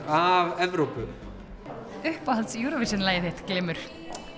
af Evrópu uppáhalds Eurovision lagið þitt glymur